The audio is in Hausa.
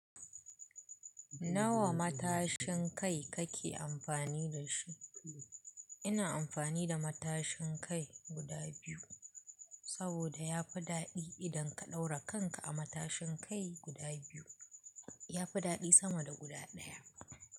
Nawa matashin kai kake amfani da shi? Ina amfani da matashin kai guda biyu, saboda yafi daɗi idan ka ɗaura kanka a matashin kai guda biyu. Yafi daɗi sama da guda ɗaya.